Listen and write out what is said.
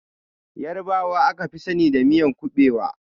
Ƴarbawa aka fi sani da miyan ƙuɓewa.